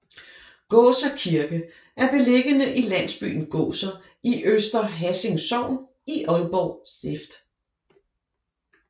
Gåser Kirke er beliggende i landsbyen Gåser i Øster Hassing Sogn i Aalborg Stift